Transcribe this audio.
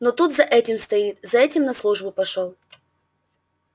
но тут за этим стоит за этим на службу пошёл